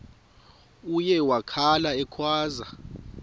uye wakhala ekhwaza